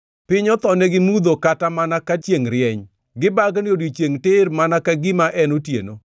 Piny othonegi mudho kata mana ka chiengʼ rieny, gibagni odiechiengʼ tir mana ka gima en otieno.